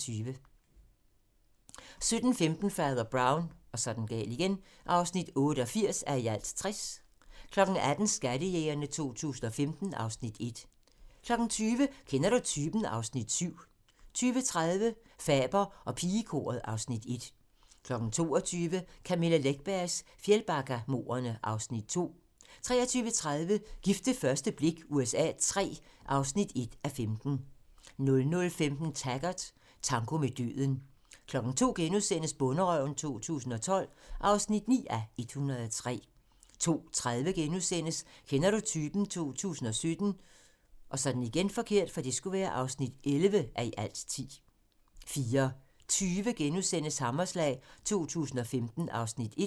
17:15: Fader Brown (88:60) 18:00: Skattejægerne 2015 (Afs. 1) 20:00: Kender du typen? (Afs. 7) 20:30: Faber og pigekoret (Afs. 1) 22:00: Camilla Läckbergs Fjällbackamordene (Afs. 2) 23:30: Gift ved første blik USA III (1:15) 00:15: Taggart: Tango med døden 02:00: Bonderøven 2012 (9:103)* 02:30: Kender du typen? 2017 (11:10)* 04:20: Hammerslag 2015 (Afs. 1)*